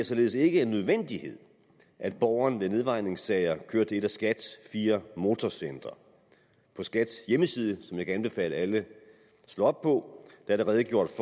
således ikke en nødvendighed at borgeren ved nedvejningssager kører til et af skats fire motorcentre på skats hjemmeside som jeg kan anbefale alle at slå op på er der redegjort